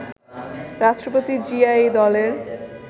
রাষ্ট্রপতি জিয়া এই দলের